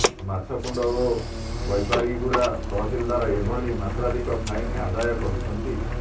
ମାଛକୁଣ୍ଡ ଓ ବୈପାରିଗୁଡ଼ା ତହସିଲଦାର ଏହିଭଳି ମାତ୍ରାଧିକ ଫାଇନ ଆଦାୟ କରୁଛନ୍ତି